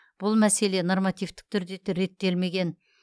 бұл мәселе нормативтік түрде реттелмеген